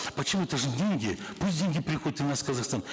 почему это же деньги пусть деньги приходят и в наш казахстан